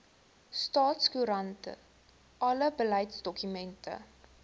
staatskoerant alle beleidsdokumente